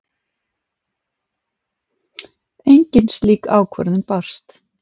Engin slík ákvörðun barst